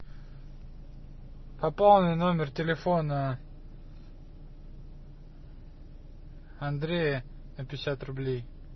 пополни номер телефона андрея на пятьдесят рублей